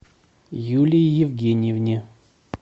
юлии евгеньевне